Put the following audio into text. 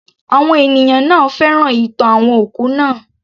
Àwọn ènìyàn náà féràn ìtàn àwọn òkú naa